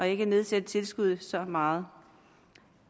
ikke at nedsætte tilskuddet så meget